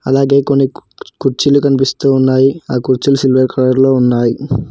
అలాగే కొన్ని కు కుర్చీలు కనిపిస్తూ ఉన్నాయి ఆ కుర్చీలు సిల్వర్ కలర్ లో ఉన్నాయి.